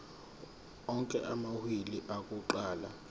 onke amawili akuqala